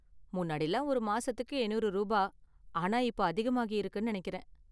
முன்னாடிலாம் ஒரு மாசத்துக்கு எண்ணூறு ரூபா ஆனா இப்போ அதிகமாகியிருக்குனு நெனைக்கிறேன்.